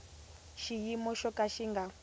xiyimo xo ka xi nga